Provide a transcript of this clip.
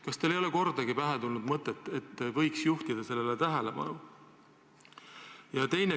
Kas teile ei ole kordagi pähe tulnud, et võiks juhtida sellele tähelepanu?